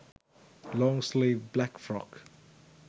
long sleeve black frock